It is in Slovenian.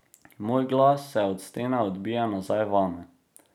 Moj glas se od stene odbije nazaj vame.